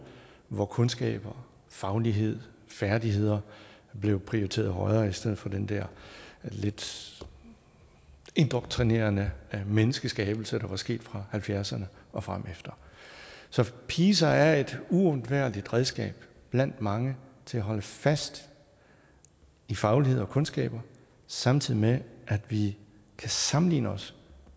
hvor kundskaber faglighed færdigheder blev prioriteret højere i stedet for den der lidt indoktrinerende menneskeskabelse der var sket fra halvfjerdserne og fremefter så pisa er et uundværligt redskab blandt mange til at holde fast i faglighed og kundskaber samtidig med at vi kan sammenligne os